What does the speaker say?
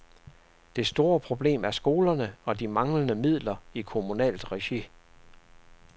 Det store problem er skolerne og de manglende midler i kommunalt regi.